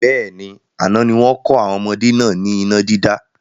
Bẹ́ẹ̀ni, àná ni wọn kọ́ àwọn ọmọdé náà ni iná dídá